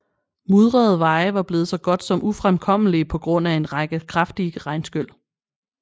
Mudrede veje var blevet så godt som ufremkommelige på grund af en række kraftige regnskyl